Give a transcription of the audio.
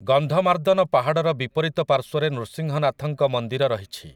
ଗନ୍ଧମାର୍ଦ୍ଦନ ପାହାଡ଼ର ବିପରୀତ ପାର୍ଶ୍ୱରେ ନୃସିଂହନାଥଙ୍କ ମନ୍ଦିର ରହିଛି ।